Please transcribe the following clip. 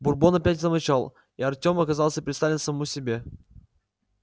бурбон опять замолчал и артём оказался предоставлен самому себе